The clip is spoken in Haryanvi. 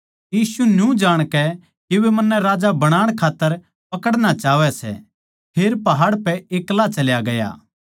यीशु न्यू जाणकै के वे मन्नै राजा बनाण खात्तर पकड़णा चाहवै सै फेर पहाड़ पै एक्ला चल्या गया